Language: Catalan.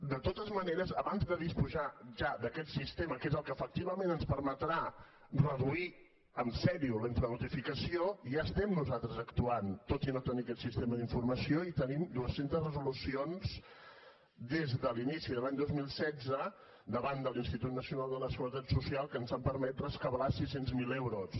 de totes maneres abans de disposar ja d’aquest sistema que és el que efectivament ens permetrà reduir en sèrio la infranotificació ja estem nosaltres actuant tot i no tenir aquest sistema d’informació i tenim dues centes resolucions des de l’inici de l’any dos mil setze davant de l’institut nacional de la seguretat social que ens han permès rescabalar sis cents miler euros